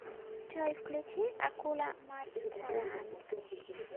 джой включи акула матранг